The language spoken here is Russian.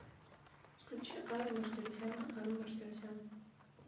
включи ару мартиросяна ару мартиросян